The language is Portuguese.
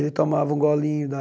Ele tomava um golinho da...